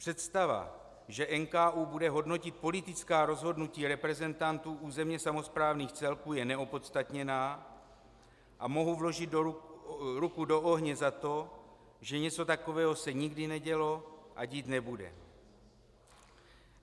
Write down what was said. Představa, že NKÚ bude hodnotit politická rozhodnutí reprezentantů územně samosprávných celků, je neopodstatněná a mohu vložit ruku do ohně za to, že něco takového se nikdy nedělo a dít nebude.